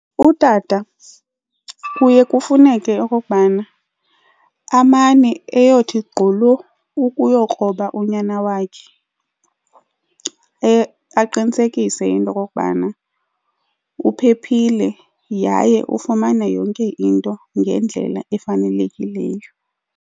Utata kuye kufuneke okokubana amane eyothi gqolo ukuyokroba unyana wakhe aqinisekise into yokokubana uphephile yaye ufumana yonke into ngendlela efanelekileyo.